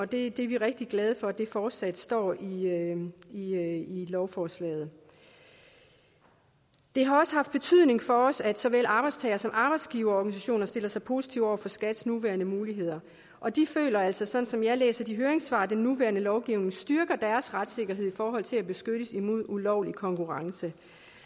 det er vi rigtig glade for fortsat står i lovforslaget det har også haft betydning for os at såvel arbejdstagere som arbejdsgiverorganisationer stiller sig positive over for skats nuværende muligheder og de føler altså sådan som jeg læser de hører høringssvar at den nuværende lovgivning styrker deres retssikkerhed i forhold til at beskyttes imod ulovlig konkurrence